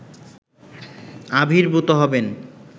আবির্ভূত হবেন